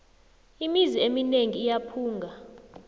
imizi emineng iyaphunga